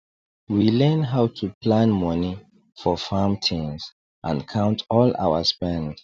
we learn how to plan money for farm things and count all our spend